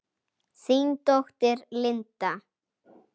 Þín dóttir, Linda.